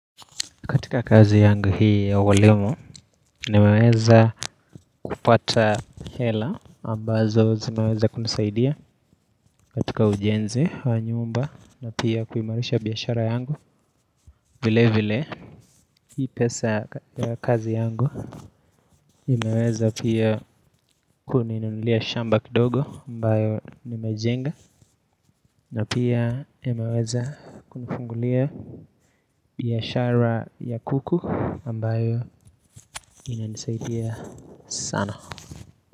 Katika kazi yangu hii ya walimu, nimeweza kupata hela ambazo zinaweza kunisaidia katika ujenzi wa nyumba na pia kuimarisha biyashara yangu vile vile Hii pesa kazi yangu imeweza pia kuninunulia shamba kidogo ambayo nimejenga na pia imeweza kunifungulia biyashara ya kuku ambayo inanisaidia sana.